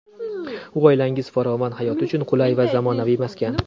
U oilangiz farovon hayoti uchun qulay va zamonaviy maskan.